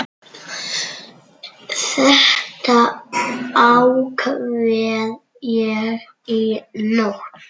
Þetta ákvað ég í nótt.